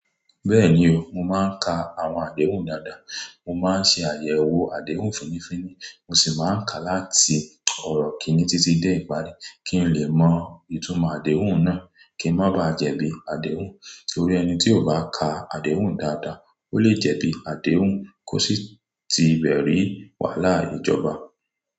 Bẹ́ẹ̀ni o, mo máa ń ka àwọn àdéhùn dáadáa, mo máa ń ṣe àyẹ̀wò àdéhùn fínní fínní, mo sì máa ń ka láti ọ̀rọ̀ kìn-ín-ní títí dé ìparí kí n lè mọ ìtumọ̀ àdéhùn náà kí n má ba jẹ̀bi àdéhùn. Nítorí ẹni tí kò bá ka àdéhùn dáadáa ó le jẹ̀bi àdéhùn kó sì ti bẹ̀ ri wàhálà ìjọba.